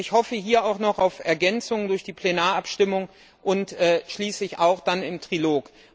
Ich hoffe hier auch noch auf Ergänzungen durch die Plenarabstimmung und schließlich dann auch im Trilog.